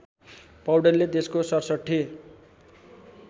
पौडेलले देशको ६७